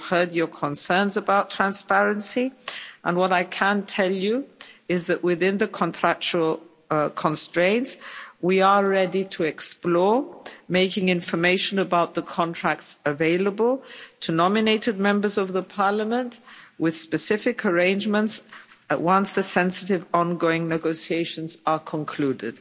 We've heard your concerns about transparency and what I can tell you is that within the contractual constraints, we are ready to explore making information about the contracts available to nominated Members of the Parliament, with specific arrangements, once the sensitive ongoing negotiations are concluded.